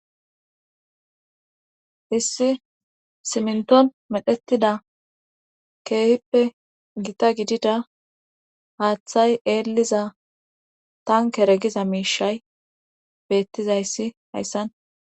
Issi siminthon medhetida keehippe gita giddida haaththay eelliza tankere giza miishay beettiza issi hayssan